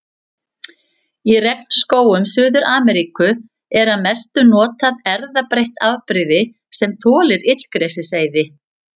Í regnskógum Suður-Ameríku er að mestu notað erfðabreytt afbrigði sem þolir illgresiseyði.